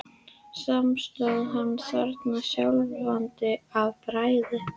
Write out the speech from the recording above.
Samt stóð hann þarna skjálfandi af bræði.